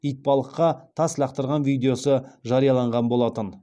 итбалыққа тас лақтырған видеосы жарияланған болатын